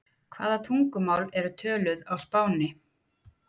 hvaða tungumál eru töluð á spáni